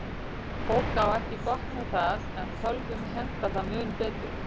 Fólk á ekki gott með það, en tölvum hentar það mun betur.